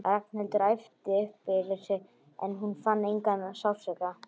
Ragnhildur æpti upp yfir sig en hún fann engan sársauka.